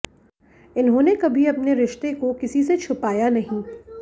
इन्होंने कभी अपने रिश्ते को किसी से छुपाया नहीं